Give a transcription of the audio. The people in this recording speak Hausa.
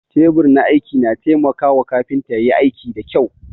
Teɓur na aiki na taimaka wa kafinta ƴayi aiki da ƙƴau